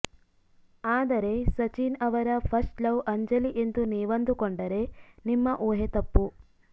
ಆದರೆ ಸಚಿನ್ ಅವರ first love Anjali ಎಂದು ನೀವಂದುಕೊಂಡರೆ ನಿಮ್ಮ ಊಹೆ ತಪ್ಪು